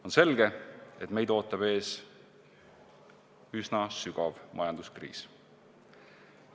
On selge, et meid ootab ees üsna sügav majanduskriis.